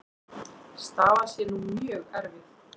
Staðan sé nú mjög erfið.